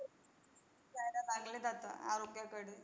चांगले जातं आरोग्याकडे.